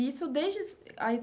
E isso desde a.